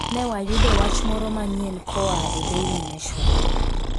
Ne wayudo wach moro manyien koa e Daily Nation